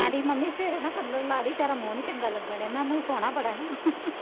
ਕਹਿੰਦੀ ਮੰੰਮੀ ਫੇਰ ਨਾ ਕੰਬਣ ਲਾਂ ਦੀ ਤੇਰਾ ਮੂੰਹ ਨਹੀਂ ਚੰਗਾ ਲੱਗਣ ਡਿਆ, ਮੈਂ ਕਿਹਾ ਮੂੰਹ ਸੋਹਣਾ ਬੜਾ ਨਾ